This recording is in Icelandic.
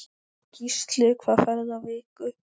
Gísli: Hvað færðu á viku?